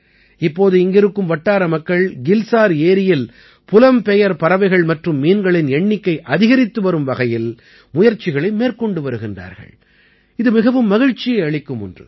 இப்போது இங்கிருக்கும் வட்டார மக்கள் கில்சார் ஏரியில் புலம்பெயர் பறவைகள் மற்றும் மீன்களின் எண்ணிக்கை அதிகரித்து வரும் வகையில் முயற்சிகளை மேற்கொண்டு வருகின்றார்கள் இது மிகவும் மகிழ்ச்சியை அளிக்கும் ஒன்று